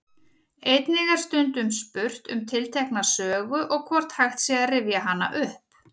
Einnig er stundum spurt um tiltekna sögu og hvort hægt sé að rifja hana upp.